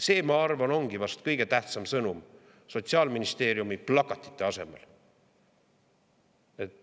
See, ma arvan, ongi vast kõige tähtsam sõnum Sotsiaalministeeriumi plakatite asemel.